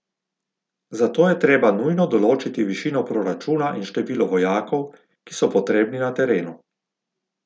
Zato je treba nujno določiti višino proračuna in število vojakov, ki so potrebni na terenu.